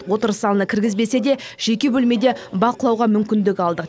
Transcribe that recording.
отырыс залына кіргізбесе де жеке бөлмеде бақылауға мүмкіндік алды